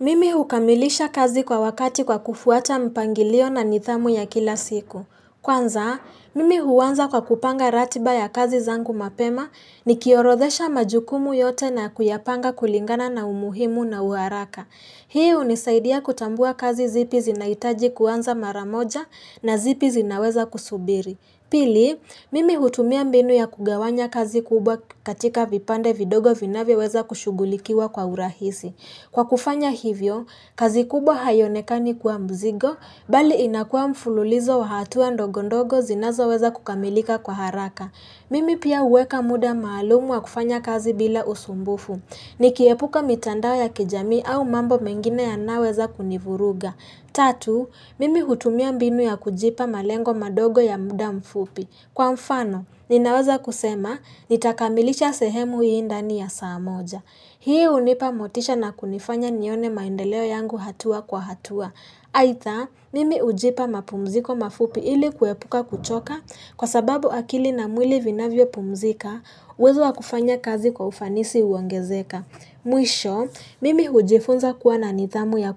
Mimi hukamilisha kazi kwa wakati kwa kufuata mpangilio na ndthamu ya kila siku. Kwanza, mimi huanza kwa kupanga ratiba ya kazi zangu mapema nikiorodhesha majukumu yote na kuyapanga kulingana na umuhimu na haraka. Hii hunisaidia kutambua kazi zipi zinahitaji kuanza mara moja na zipi zinaweza kusubiri. Pili, mimi hutumia mbinu ya kugawanya kazi kubwa katika vipande vidogo vinavyoweza kushugulikiwa kwa urahisi. Kwa kufanya hivyo, kazi kubwa haionekani kuwa mzigo, bali inakuwa mfululizo wa hatua ndogo ndogo zinazo weza kukamilika kwa haraka. Mimi pia huweka muda maalum wa kufanya kazi bila usumbufu. Nikiepuka mitandao ya kijamii au mambo mengine yanayoweza kunivuruga. Tatu, mimi hutumia mbinu ya kujipa malengo madogo ya muda mfupi. Kwa mfano, ninaweza kusema, nitakamilisha sehemu hii ndani ya saa moja. Hii hunipa motisha na kunifanya nione maendeleo yangu hatua kwa hatua. Aidha, mimi hujipa mapumziko mafupi ili kuepuka kuchoka kwa sababu akili na mwili vinavyo pumzika, uwezo wa kufanya kazi kwa ufanisi huongezeka. Mwisho, mimi hujifunza kuwa na nidhamu ya